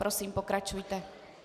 Prosím, pokračujte.